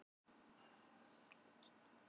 Ingimar: Samstaða um hvað?